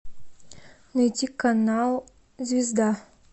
найти канал звезда